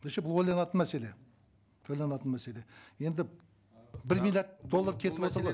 вообще бұл ойланатын мәселе ойланатын мәселе енді бір миллиард доллар кетіватыр ғой